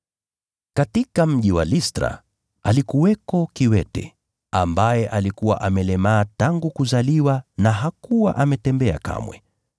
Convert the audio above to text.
Katika mji wa Listra, alikuwako kiwete, ambaye alikuwa amelemaa tangu kuzaliwa na hakuwa ametembea kamwe.